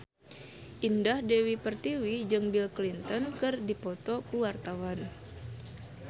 Indah Dewi Pertiwi jeung Bill Clinton keur dipoto ku wartawan